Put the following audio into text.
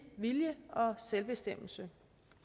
vilje og selvbestemmelse